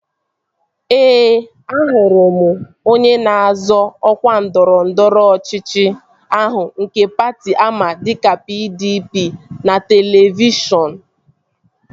Ee, ahụrụ m onye na-azọ ọkwa ndọrọndọrọ ọchịchị ahụ nke patị ama dịka PDP n'televishọn